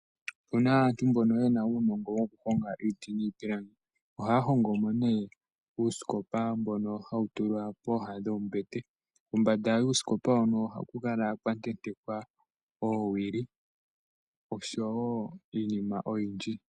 Opuna aantu mbono yena uunongo woku honga iiti niipilangi ohaya hongo mo ne uusikopa mbono hawu tulwa pooha dhoombete pombanda wuusikopa hono ohaku kala kwa tentekwa oowili oshowo iinima oyindji.